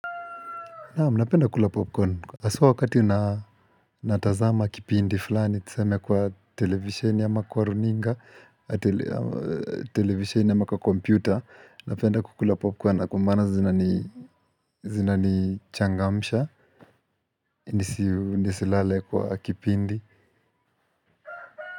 Naam, napenda kukula popcorn. Haswa wakati natazama kipindi fulani, tuseme kwa televisheni ama kwa runinga, televisheni ama kwa computer, napenda kukula popcorn kwa maana zinani zinanichangamsha, nisilale kwa kipindi.